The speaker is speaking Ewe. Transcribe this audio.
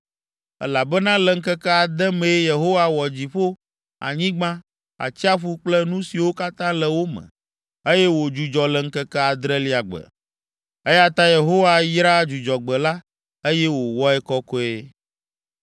elabena le ŋkeke ade mee Yehowa wɔ dziƒo, anyigba, atsiaƒu kple nu siwo katã le wo me, eye wòdzudzɔ le ŋkeke adrelia gbe, eya ta Yehowa yra Dzudzɔgbe la, eye wòwɔe kɔkɔe.